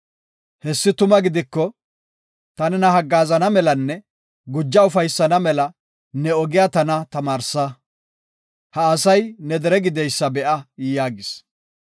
Hessi tuma gidiko, ta nena haggaazana melanne guja ufaysana mela ne ogiya tana tamaarsa. Ha asay ne dere gideysa be7a” yaagis.